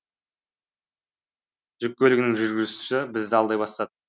жүк көлігінің жүргізушісі бізді алдай бастады